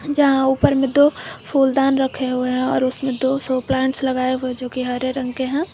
जहां ऊपर में दो फूलदान रखे हुए हैं और उसमें दो शो प्लांट्स लगाए हुए जो की हरे रंग के हैं।